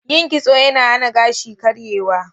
Yin kitso yana hana gashi karyewa.